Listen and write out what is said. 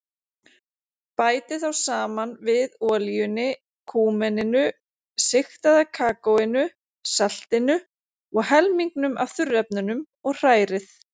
Bætið þá saman við olíunni, kúmeninu, sigtaða kakóinu, saltinu og helmingnum af þurrefnunum og hrærið.